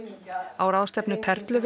á ráðstefnu